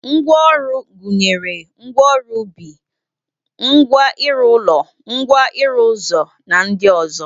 Ngwa ọrụ gụnyere ngwa ọrụ ubi, ngwa ịrụ ụlọ, ngwa ịrụ ụzọ na ndị ọzọ